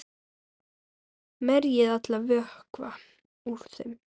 Merjið allan vökva úr þeim.